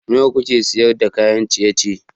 Nawa kuke sayar da kayan ciye-ciye?